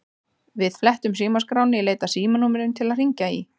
Við flettum símaskránni í leit að símanúmerum til að hringja í.